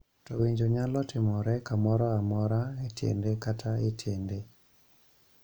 To winjo nyalo timore kamoro amora e tiende kata e tiende.